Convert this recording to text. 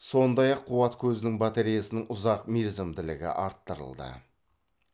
сондай ақ қуат көзінің батареясының ұзақ мерзімділігі арттырылды